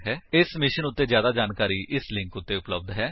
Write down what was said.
ਇਸ ਮਿਸ਼ਨ ਉੱਤੇ ਜਿਆਦਾ ਜਾਣਕਾਰੀ ਇਸ ਲਿੰਕ ਉੱਤੇ ਉਪਲੱਬਧ ਹੈ